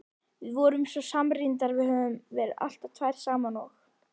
Við erum svo samrýmdar, höfum alltaf verið tvær saman og.